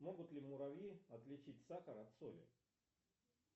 могут ли муравьи отличить сахар от соли